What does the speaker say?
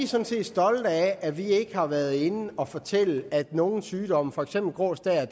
sådan set stolte af at vi ikke har været inde at fortælle at nogle sygdomme for eksempel grå stær